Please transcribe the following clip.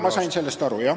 Ma sain sellest aru, jah.